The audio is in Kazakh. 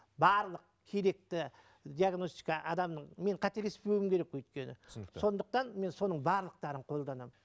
барлық керекті диагностика адамның мен қателеспеуім керек өйткені түсінікті сондықтан мен соның барлықтарын қолданамын